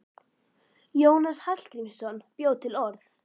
Jónas Hallgrímsson bjó til orð.